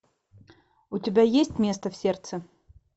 у тебя есть место в сердце